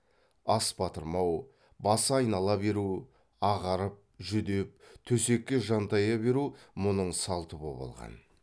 ас батырмау басы айнала беру ағарып жүдеп төсекке жантая беру мұның салты боп алған